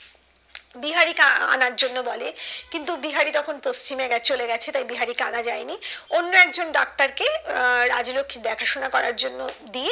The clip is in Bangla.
বিহারি কে আনার জন্য বলে কিন্তু বিহারি তখন পশ্চিমে চলেগেছে তাই বিহারী কে আনা যায়নি অন্য একজন ডাক্তার কে আহ রাজলক্ষী দেখাশোনা করার জন্য